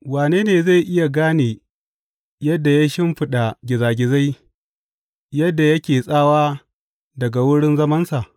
Wane ne zai iya gane yadda ya shimfiɗa gizagizai yadda yake tsawa daga wurin zamansa?